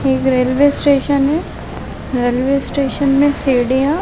एक railway station है railway station में सिडिया --